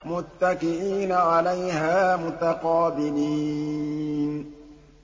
مُّتَّكِئِينَ عَلَيْهَا مُتَقَابِلِينَ